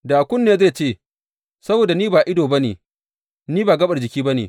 Da kunne zai ce, Saboda ni ba ido ba ne, ni ba gaɓar jiki ba ne.